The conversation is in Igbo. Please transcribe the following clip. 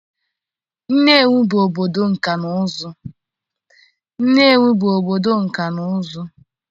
Nnewi bụ obodo nkà na ụzụ.